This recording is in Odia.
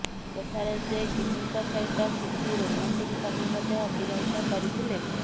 ସେଠାରେ ସେ ଗିନିଙ୍କ ସହିତ କିଛି ରୋମାଣ୍ଟିକ ସମୟ ମଧ୍ୟ ଅତିବାହିତ କରିଥିଲେ